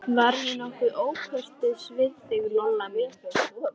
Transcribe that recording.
Var ég nokkuð ókurteis við þig, Lolla mín?